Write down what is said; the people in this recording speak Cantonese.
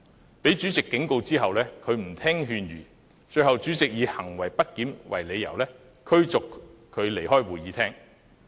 他被主席警告後，仍然不聽勸諭，最後被主席以行為不檢為理由，把他逐出會議廳。